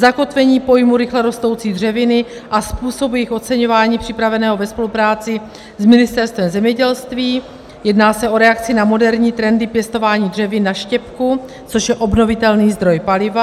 zakotvení pojmu rychle rostoucí dřeviny a způsob jejich oceňování připraveného ve spolupráci s Ministerstvem zemědělství, jedná se o reakci na moderní trendy pěstování dřevin na štěpku, což je obnovitelný zdroj paliva;